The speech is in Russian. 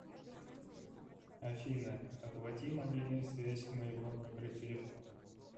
афина оплати мобильную связь моего номера телефона